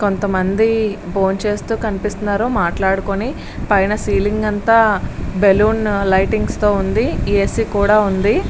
కొంతమంది భోంచేస్తూ కనిపిస్తున్నారు మాట్లాడుకొని పైన సీలింగ్ అంతా బెలూన్ లైటింగ్సుతో ఉంది. ఏసీ కూడా ఉంది.